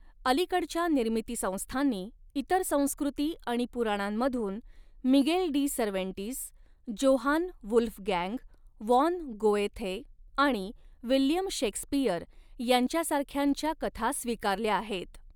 अलीकडच्या निर्मितीसंस्थांनी, इतर संस्कृती आणि पुराणांमधून Miguel de Cervantes, Johann Wolfgang von Goethe आणि विल्यम शेक्सपिअर यांच्यासारख्यांच्या कथा स्वीकारल्या आहेत.